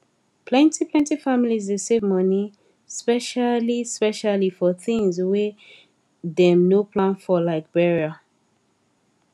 plentyplenty families dey save money speciallyspecially for tins wey dem no plan for like burial